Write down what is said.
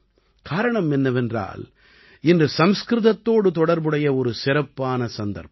காரணம் என்னவென்றால் இன்று சம்ஸ்கிருதத்தோடு தொடர்புடைய ஒரு சிறப்பான சந்தர்ப்பம்